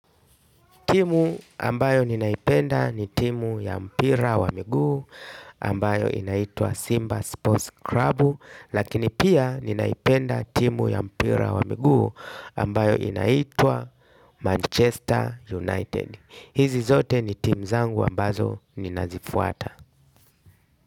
Timu ambayo ninaipenda ni timu ya mpira wa miguu. Ambayo inaitwa Simba Sports Club lakini pia ninaipenda timu ya mpira wa miguu ambayo inaitwa Manchester United. Hizi zote ni timu zangu ambazo ninazifuata.